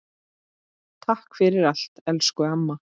Takk fyrir allt elsku amma.